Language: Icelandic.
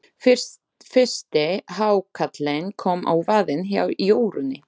Fyrsti hákarlinn kom á vaðinn hjá Jórunni.